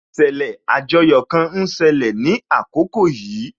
Ìṣẹ̀lẹ̀ àjoyò kan ń ṣẹlẹ̀ ní àkókò yìí